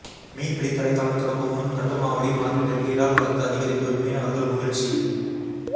மீன்பிடி தடைகாலம் தொடங்கும் முன் கட்டுமாவடி மார்க்கெட்டிற்கு இறால் வரத்து அதிகரிப்பு மீனவர்கள் மகிழ்ச்சி